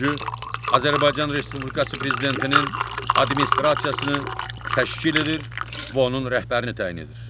Azərbaycan Respublikası Prezidentinin Administrasiyasını təşkil edir və onun rəhbərini təyin edir.